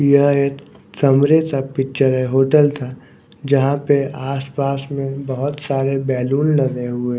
यह एक कमरे का पिक्चर है। होटल का जहां पर आसपास में बहोत सारे बैलून लगे हुए--